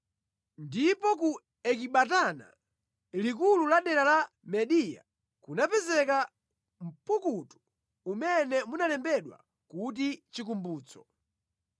Ndipo ku Ekibatana, likulu la dera la Mediya, kunapezeka mpukutu mmene munalembedwa kuti, Chikumbutso: